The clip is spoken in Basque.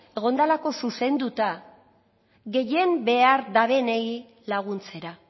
egon delako zuzenduta gehien behar dabenei laguntzera